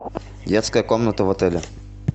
детская комната в отеле